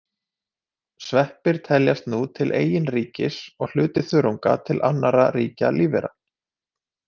Sveppir teljast nú til eigin ríkis og hluti þörunga til annarra ríkja lífvera.